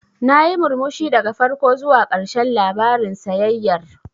Nayi murmushi daga farko zuwa ƙarshen labarin sayayyar.